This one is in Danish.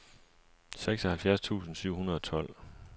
seksoghalvfjerds tusind syv hundrede og tolv